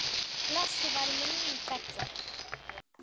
Blessuð veri minning beggja.